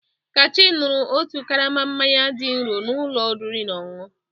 Kachi ṅụru otu karama mmanya dị nro na ụlọ oriri na ọṅụṅụ.